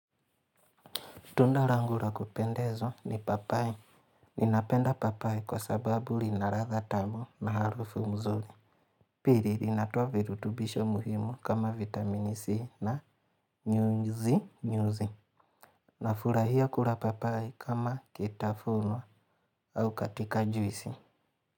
Tunda rangu ra kupendezwa ni papai. Ninapenda papai kwa sababu rina ratha tamu na harufu mzuri. Piri rinatoa virutubisho muhimu kama vitamini C na nyuzi nyuzi. Na furahia kura papai kama kitafunu au katika juisi.